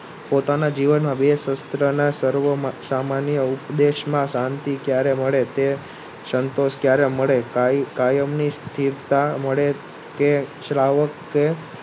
પોતાના જીવનમાં બે સુસ્તરના સર્વમાં સામાન્ય ઉપદેશમાં શાંતિ ક્યારે મળે તે સંતોષ ક્યારે મળે કાયમ ની સ્થિરતા મળે કે